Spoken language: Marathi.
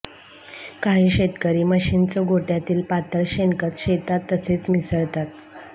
काही शेतकरी म्हशींच गोठ्यातिल पातळ शेणखत शेतात तसेच मिसळतात